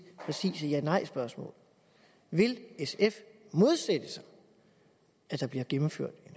præcise ja nejspørgsmål vil sf modsætte sig at der bliver gennemført